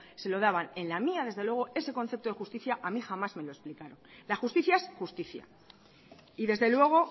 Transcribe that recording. se lo daban en la mía desde luego ese concepto de justicia a mí jamás me lo explicaron la justicia es justicia y desde luego